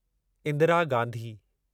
Indira Gandhi